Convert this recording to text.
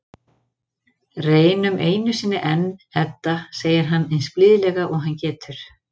Reynum einu sinni enn, Edda, segir hann eins blíðlega og hann getur.